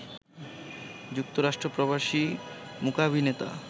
যুক্তরাষ্ট্র প্রবাসী মূকাভিনেতা